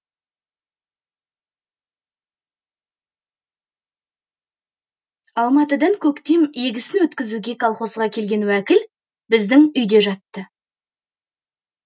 алматыдан көктем егісін өткізуге колхозға келген уәкіл біздің үйде жатты